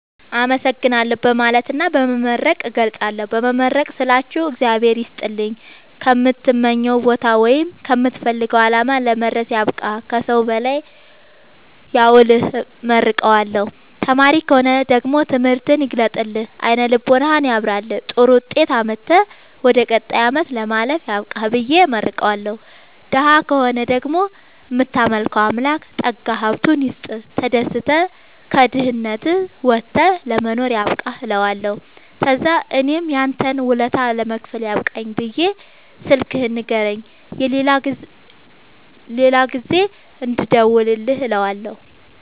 አመሠግናለሁ በማለትና በመመረቅ እገልፃለሁ። በመመረቅ ስላችሁ እግዚአብሄር ይስጥልኝ ከምትመኘዉ ቦታወይም ከምትፈልገዉ አላማ ለመድረስያብቃህ ከሠዉ በላይ ያዉልህብየ እመርቀዋለሁ። ተማሪ ከሆነ ደግሞ ትምህርትህን ይግለጥልህ አይነ ልቦናህን ያብራልህ ጥሩዉጤት አምጥተህ ወደ ቀጣይ አመት ለማለፍ ያብቃህ ብየ እመርቀዋለሁ። ደሀ ከሆነ ደግሞ እምታመልከዉ አምላክ ጠጋዉን ሀብቱይስጥህ ተደስተህ ከድህነት ወተህ ለመኖር ያብቃህእለዋለሁ። ተዛምእኔም ያንተን ወለታ ለመክፈል ያብቃኝ ብየ ስልክህን ንገረኝ የሌላ ጊዜ እንድደዉልልህ እለዋለሁ